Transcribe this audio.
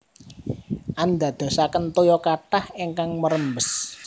Andadosaken toya kathah ingkang merembes